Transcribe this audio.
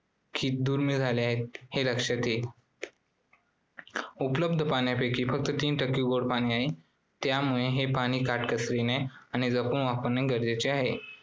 दुर्मिळ झालेले आहे हे लक्षात येईल. उपलब्ध पाण्यापैकी फक्त तीन टक्के गोडे पाणी आहे. त्यामुळे हे पाणी काटकसरीने आणि जपून वापरणे गरजेचे आहे.